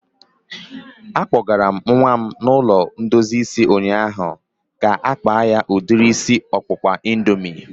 A kpọgara m nwa m ụlọ ndozi isi ụnyaahụ ka-akpa ya udiri isi ọkpụkpa indoomị